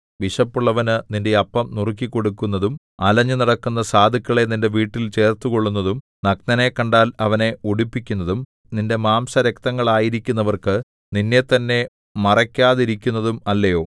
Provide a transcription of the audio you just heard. വിശപ്പുള്ളവനു നിന്റെ അപ്പം നുറുക്കിക്കൊടുക്കുന്നതും അലഞ്ഞു നടക്കുന്ന സാധുക്കളെ നിന്റെ വീട്ടിൽ ചേർത്തുകൊള്ളുന്നതും നഗ്നനെ കണ്ടാൽ അവനെ ഉടുപ്പിക്കുന്നതും നിന്റെ മാംസരക്തങ്ങളായിരിക്കുന്നവർക്കു നിന്നെത്തന്നെ മറയ്ക്കാതെയിരിക്കുന്നതും അല്ലയോ